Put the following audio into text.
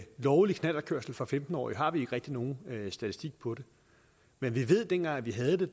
lovlig knallertkørsel for femten årige har vi ikke rigtig nogen statistik på det men vi ved at dengang vi havde